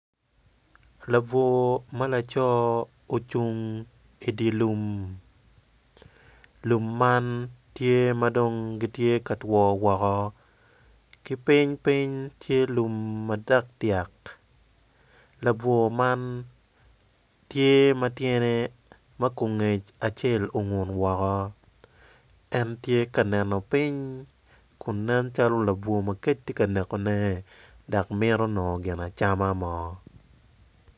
Labwor ma laco ocung i di lum lum man giti madong giti ka two woko ki piny ti lum madyak dyak labwor man tye ma tyene ma gungec ongun woko en tye ka neno piny ku nen calo labwor ma kec tye ka nekone dak mito nongo gin acama mo